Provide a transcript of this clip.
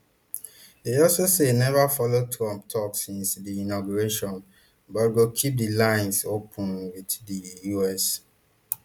e also say e neva follow trump tok since di inauguration but go keep di lines open wit di us